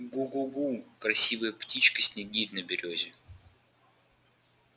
гу-гу-гу красивая птичка снегирь на берёзе